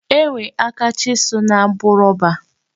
E nwere aka chisụl na-abụ rọba.